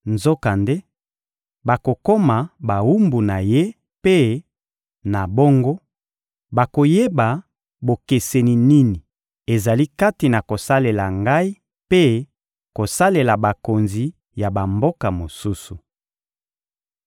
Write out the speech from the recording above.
Nzokande bakokoma bawumbu na ye mpe, na bongo, bakoyeba bokeseni nini ezali kati na kosalela Ngai mpe kosalela bakonzi ya bamboka mosusu.